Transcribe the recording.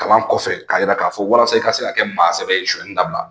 Kalan kɔfɛ ka yira ka fɔ walasa i ka se ka kɛ maasɛbɛ ye suɲɛni dabila.